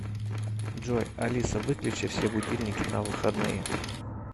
джой алиса выключи все будильники на выходные